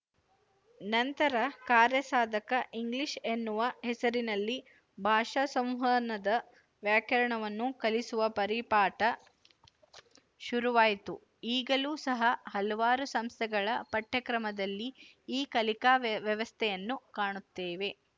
ನಂತರ ಕಾರ್ಯಸಾಧಕ ಇಂಗ್ಲಿಶ ಎನ್ನುವ ಹೆಸರಿನಲ್ಲಿ ಭಾಷಾ ಸಂವಹನದ ವ್ಯಾಕರಣವನ್ನು ಕಲಿಸುವ ಪರಿಪಾಟ ಶುರುವಾಯಿತು ಈಗಲೂ ಸಹ ಹಲವಾರು ಸಂಸ್ಥೆಗಳ ಪಠ್ಯಕ್ರಮದಲ್ಲಿ ಈ ಕಲಿಕಾ ವ್ಯವಸ್ಥೆಯನ್ನು ಕಾಣುತ್ತೇವೆ